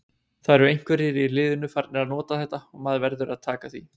Það eru einhverjir í liðinu farnir að nota þetta og maður verður að taka því.